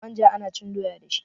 manja ana cin doya dashi